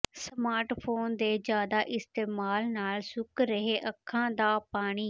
smartphone ਦੇ ਜ਼ਿਆਦਾ ਇਸਤੇਮਾਲ ਨਾਲ ਸੁੱਕ ਰਿਹੈ ਅੱਖਾਂ ਦਾ ਪਾਣੀ